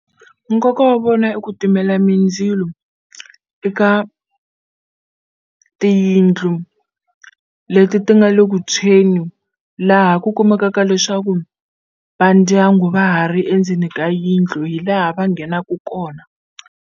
Nkoka wa vona i ku timela mindzilo eka tiyindlu leti ti nga le ku tshweni laha ku kumekaka leswaku va ndyangu va ha ri endzeni ka yindlu hi laha va nghenaku kona.